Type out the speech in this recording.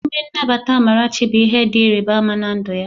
Emume Nnabata Amarachi bụ ihe dị ịrịba ama na ndụ ya